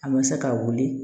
A ma se ka wuli